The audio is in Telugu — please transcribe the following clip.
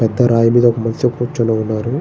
పెద్ద రాయి మీద ఒక మినిషి కూర్చుని ఉన్నారు.